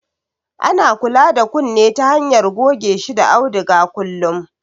Ana kula da kunne ta hanyar goge shi da auduga kullum